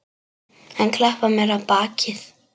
Hann klappar mér á bakið.